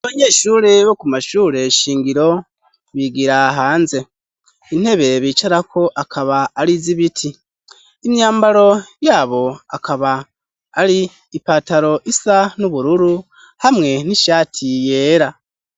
Abanyeshure bo ku mashure shingiro bigira hanze. Intebe bicarako akaba ari iz'ibiti. Imyambaro yabo akaba ari ipataro isa n'ubururu, hamwe n'ishati yera.